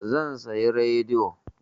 Zan sayi rediyo.